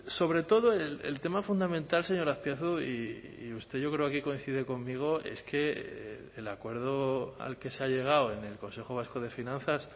sobre todo el tema fundamental señor azpiazu y usted yo creo que coincide conmigo es que el acuerdo al que se ha llegado en el consejo vasco de finanzas